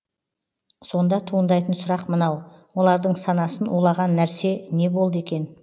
сонда туындайтын сұрақ мынау олардың санасын улаған нәрсе не болды екен